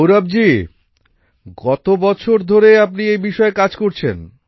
গৌরব জি কত বছর ধরে আপনি এই বিষয়ে কাজ করছেন